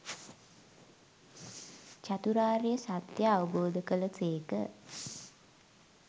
චතුරාර්ය සත්‍යය අවබෝධ කළ සේක.